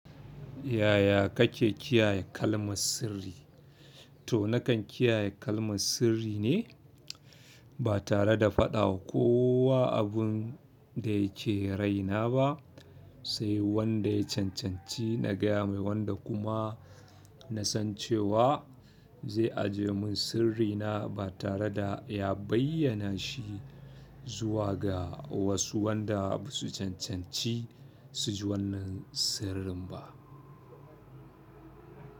Yaya kake kiyaye kalmar sirri? To nakan kiyaye kalmar sirri ne ba tare da faɗawa kowa abun da yake raina ba, sai wanda ya cancanci na gaya mai wanda kuma na san cewa zai ajiye mun sirrina ba tare da ya bayyana shi zuwa ga wasu wanda ba su cancanci su ji wannan sirrin ba.